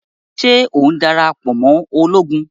Ṣe o darapọ̀ mọ Ológùn?